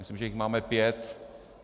Myslím, že jich máme pět.